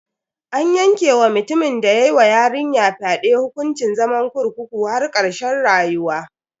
An yanke wa mutumin da ya wa yarinyar fyade hukuncin zaman kurkukun har karshen rayuwa.